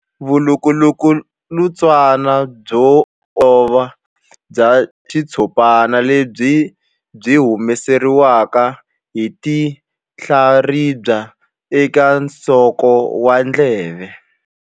Vulukulutswana byo olova bya xitshopana lebyi byi humesiwaka hi tinhlaribya eka nsoko wa ndleve.